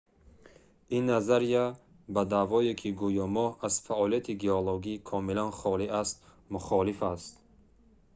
ин назария ба даъвое ки гӯё моҳ аз фаъолияти геологӣ комилан холӣ аст мухолиф аст